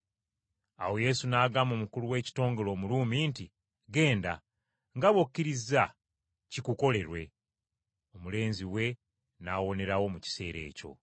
Awo Yesu n’agamba omukulu w’ekitongole Omuruumi nti, “Ggenda. Nga bw’okkirizza kikukolerwe.” Omulenzi we n’awonerawo mu kiseera ekyo.